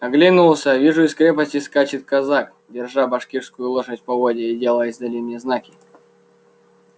оглянулся вижу из крепости скачет казак держа башкирскую лошадь в поводья и делая издали мне знаки